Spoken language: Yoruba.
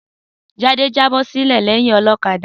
Sadé jábọ́-sílẹ̀ lẹyìn olọ́kadà.